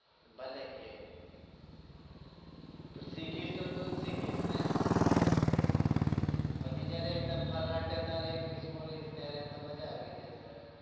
ભલે કે પછી શીખીશ તો તુ જ શીખીશ ને પછી જયારે તું ફરાટેદાર english બોલીશ ત્યારે તો મજા આવી જશે